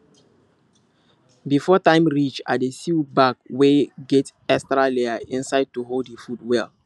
before time reach i dey sew bag wey get extra layer inside to hold the food well